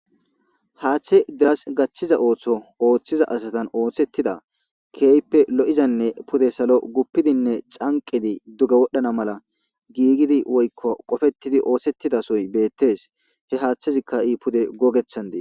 haaththe deras gathiza ooththo ooththiza asatan ooththettida keeyppe lo7izanne pude salo guppidinne canqidi duge wodhdhana mala giigidi woykko qofettidi oothsettidasoy beettees he haaththezikka ha'i pude gogethan des